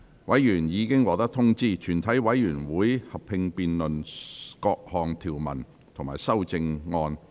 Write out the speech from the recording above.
委員已獲得通知，全體委員會會合併辯論各項條文及修正案。